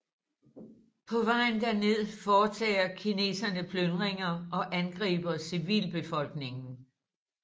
På vejen derned foretager kineserne plyndringer og angriber civilbefolkningen